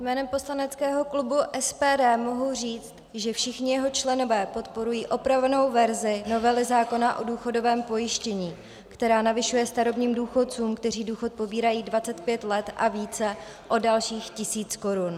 Jménem poslaneckého klubu SPD mohu říct, že všichni jeho členové podporují opravenou verzi novely zákona o důchodovém pojištění, která navyšuje starobním důchodcům, kteří důchod pobírají 25 let a více, o dalších tisíc korun.